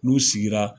N'u sigira